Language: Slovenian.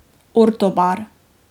Orto bar.